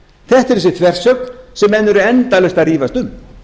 þetta er þessi þversögn sem menn eru endalaust að rífast um